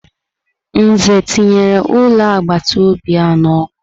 Nze tinyere ulo agbataobi a n'ọkụ.